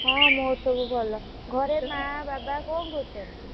ହଁ ମୋର ସବୁ ଭଲ। ଘରେ ମାଆ ବାବା କଣ କରୁଛନ୍ତି?